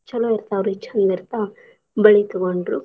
ಛಲೋ ಇರ್ತಾವ್ ರಿ ಚಂದ್ ಇರ್ತಾವ್ ಬಳಿ ತಗೊಂಡ್ರು.